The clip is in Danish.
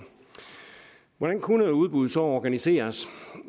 hvordan kunne udbuddet så organiseres